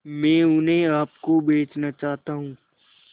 मैं उन्हें आप को बेचना चाहता हूं